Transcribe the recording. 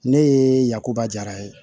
Ne ye yakuba jara ye